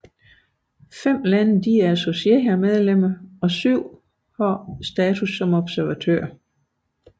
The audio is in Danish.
Fem lande er associerede medlemmer og syv har observatørstatus